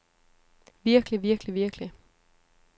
virkelig virkelig virkelig